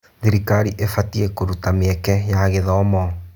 Thirikari ĩbatiĩ kũruta mĩeke ya gĩthomo.